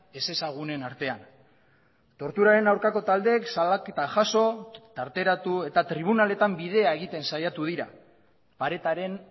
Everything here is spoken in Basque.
ezezagunen artean torturaren aurkako taldeek salaketa jaso tarteratu eta tribunaletan bidea egiten saiatu dira paretaren